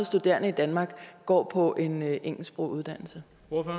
studerende i danmark går på en engelsksproget uddannelse